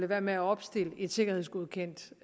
være med at opstille et sikkerhedsgodkendt